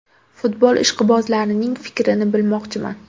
Futbol ishqibozlarining fikrini bilmoqchiman.